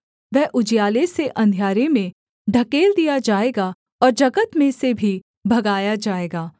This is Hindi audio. वह उजियाले से अंधियारे में ढकेल दिया जाएगा और जगत में से भी भगाया जाएगा